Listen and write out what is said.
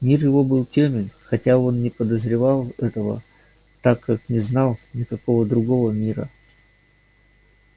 мир его был тёмен хотя он не подозревал этого так как не знал никакого другого мира